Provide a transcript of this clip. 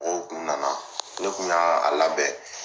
Mɔgɔw kun nana ne kun y'a a labɛn